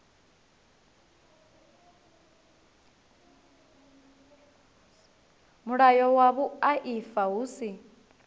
mulayo wa vhuaifa hu si